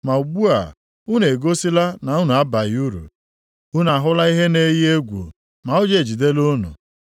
Ma ugbu a, unu egosila na unu abaghị uru, unu ahụla ihe na-eyi egwu ma ụjọ ejidela unu.